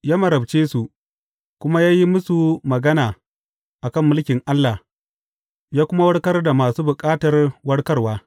Ya marabce su, kuma ya yi musu magana a kan mulkin Allah, ya kuma warkar da masu bukatar warkarwa.